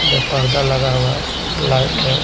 में पर्दा लगा हुआ हैलाइट है।